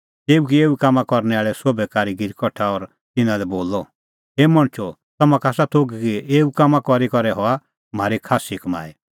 तेऊ किऐ एऊ कामां करनै आल़ै सोभै कारीगीर कठा और तिन्नां लै बोलअ हे मणछो तम्हां का आसा थोघ कि एऊ कामां करी करै हआ म्हारी खास्सी कमाई